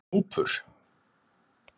Gnúpur